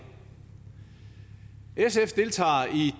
sf deltager